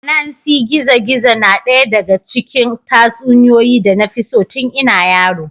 Anansi gizo-gizo na ɗaya daga cikin tatsuniyoyi da na fi so tun ina yaro.